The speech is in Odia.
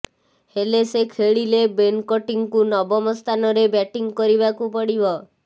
ହେଲେ ସେ ଖେଳିଲେ ବେନ କଟିଂଙ୍କୁ ନବମ ସ୍ଥାନରେ ବ୍ୟାଟିଂ କରିବାକୁ ପଡ଼ିବ